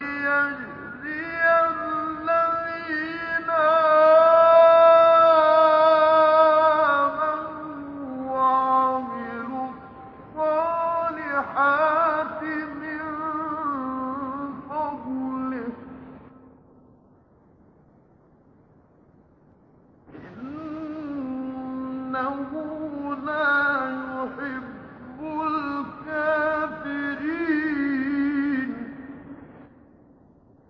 لِيَجْزِيَ الَّذِينَ آمَنُوا وَعَمِلُوا الصَّالِحَاتِ مِن فَضْلِهِ ۚ إِنَّهُ لَا يُحِبُّ الْكَافِرِينَ